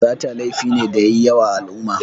Sata laifi ne da yayi yawa a al'umma